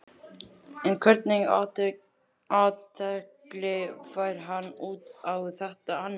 En hvernig athygli fær hann út á þetta annars?